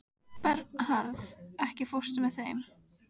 Bernharð, ekki fórstu með þeim?